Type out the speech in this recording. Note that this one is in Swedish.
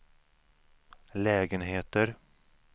lägenheter